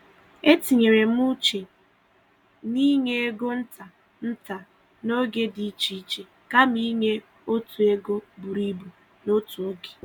E tinyere m uche m n’inye ego nta nta n’oge dị iche iche kama inye otu ego buru ibu n’otu oge.